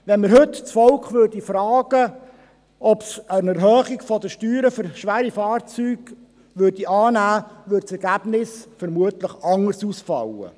Wenn wir heute das Volk fragen würden, ob es eine Erhöhung der Steuern für schwere Fahrzeuge annehmen würde, fiele das Ergebnis vermutlich anders aus.